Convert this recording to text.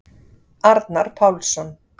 Arnar Pálsson.